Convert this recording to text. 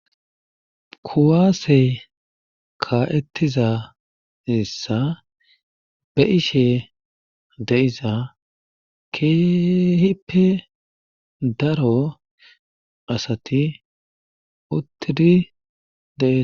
kuwaasey ka7ettiza issa be ishe deiza keehippe daro asati uttiri deia